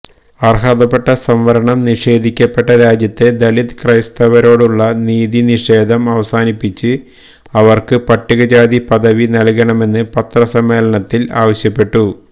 അര്ഹതപ്പെട്ട സംവരണം നിഷേധിക്കപ്പെട്ട രാജ്യത്തെ ദലിത് ക്രൈസ്തവരോടുള്ള നീതിനിഷേധം അവസാനിപ്പിച്ച് അവര്ക്ക് പട്ടികജാതി പദവി നല്കണമെന്ന് പത്രസമ്മേളനത്തില് ആവശ്യപ്പെട്ടു